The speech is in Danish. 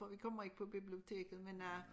For vi kommer ikke på biblioteket men øh